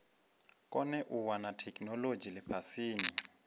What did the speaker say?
kone u wana theikinolodzhi lifhasini